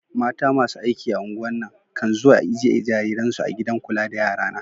Mata masu aiki a'ungwar na, kan zuwa ijie jarirai'n su a gidan kulla da yara na.